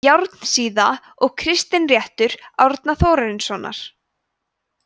járnsíða og kristinréttur árna þórarinssonar